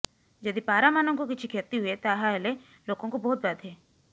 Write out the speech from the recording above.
ଯଦି ପାରାମାନଙ୍କୁ କିଛି କ୍ଷତି ହୁଏ ତାହେଲେ ଲୋକଙ୍କୁ ବହୁତ ବାଧେ